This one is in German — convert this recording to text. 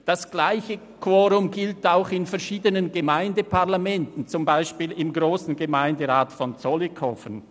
Das gleiche Quorum gilt auch in verschiedenen Gemeindeparlamenten, zum Beispiel im Grossen Gemeinderat von Zollikofen.